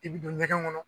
I bi don ɲɛgɛn kɔnɔ